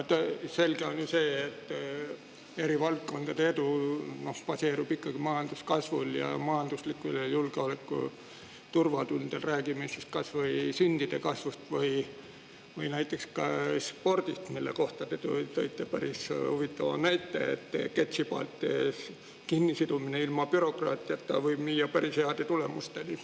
Selge on see, et eri valdkondade edu baseerub majanduskasvul ning majanduslikul ja julgeolekulisel turvatundel, räägime kas või sündide arvu kasvust või näiteks spordist, mille kohta te tõite päris huvitava näite, et ketsipaelte kinnisidumine ilma bürokraatiata võib viia päris heade tulemusteni.